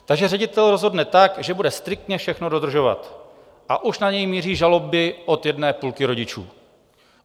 Takže ředitel rozhodne tak, že bude striktně všechno dodržovat, a už na něj míří žaloby od jedné půlky rodičů.